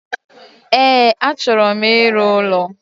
E, achọro m ịrụ ụlọ